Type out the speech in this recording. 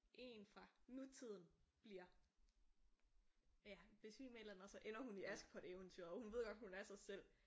En fra nutiden bliver ja besvimer eller et eller andet og så ender hun i Askepot eventyret og hun ved godt at hun er sig selv